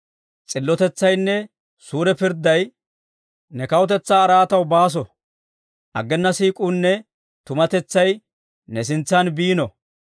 S'illotetsaynne suure pirdday ne kawutetsaa araataw baaso. Aggena siik'uunne tumatetsay ne sintsaan biino.